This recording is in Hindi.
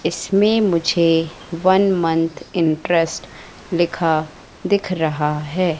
इसमें मुझे वन मंथ इंटरेस्ट लिखा दिख रहा है।